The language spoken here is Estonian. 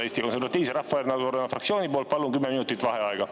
Eesti Konservatiivse Rahvaerakonna fraktsiooni poolt palun kümme minutit vaheaega.